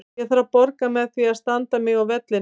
Ég þarf að borga með því að standa mig á vellinum.